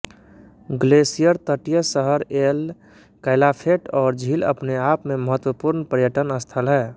glacier तटीय शहर El Calafate और झील अपने आप में महत्वपूर्ण पर्यटन स्थल हैं